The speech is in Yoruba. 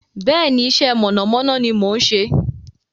Bẹ́ẹ̀ni, iṣẹ́ mọ̀nàmọ́ná ni mò ń ṣe.